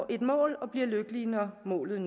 et mål og bliver lykkelige når målet